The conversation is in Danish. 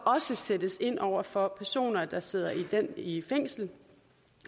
sættes ind over for personer der sidder i fængsel